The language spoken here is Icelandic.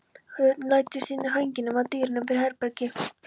Hún læddist inn eftir ganginum, að dyrunum fyrir herbergi